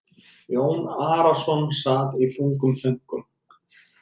Jón Arason sat í þungum þönkum.